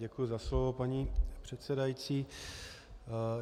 Děkuji za slovo, paní předsedající.